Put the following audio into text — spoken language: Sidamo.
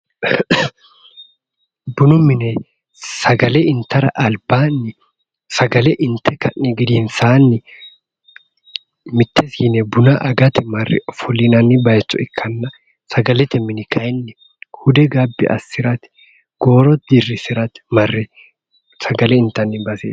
Bunu mine sagale intara albaanni sagale inte ka'ni gedensaanni mitte siine buna agate marre ofollinanniwa ikkanna sagalete mini kayeenni hude gabbi assirate gooro gabbi assirate marre sagale intanni baseeti